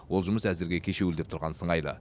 ол жұмыс әзірге кешеуілдеп тұрған сыңайлы